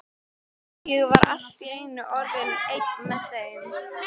Ég var allt í einu orðinn einn með þeim.